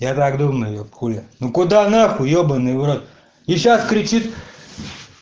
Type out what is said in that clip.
я так думаю хули ну куда нахуй ебанный в рот и сейчас кричит